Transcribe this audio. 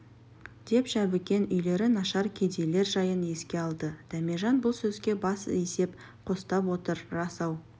деп жәбікен үйлері нашар кедейлер жайын еске алды дәмежан бұл сөзге бас изеп қостап отыр рас-ау